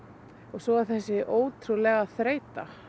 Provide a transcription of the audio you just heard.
svo þessi ótrúlega þreyta